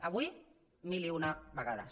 avui mil i una vegades